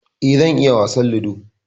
E, zan iya wasan Ludo.